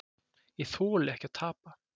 Ég þoli ekki að tapa